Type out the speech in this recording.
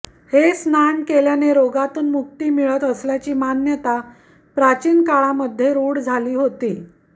हे स्नान केल्याने रोगातून मुक्ती मिळत असल्याची मान्यता प्राचीन काळामध्ये रूढ होती